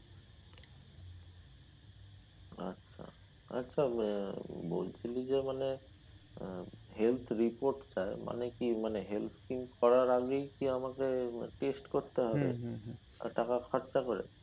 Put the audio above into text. আচ্ছা, আচ্ছা বলছি যে মানে আহ health report টা মানে কি মানে health scheme করার আগেই কি আমাকে test করতে হবে টাকা খরচা করে?